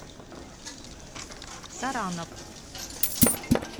саранов